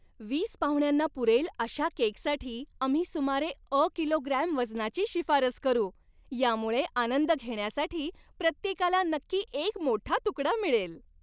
वीस पाहुण्यांना पुरेल अशा केकसाठी आम्ही सुमारे अ किलोग्रॅम वजनाची शिफारस करू. यामुळे आनंद घेण्यासाठी प्रत्येकाला नक्की एक मोठा तुकडा मिळेल.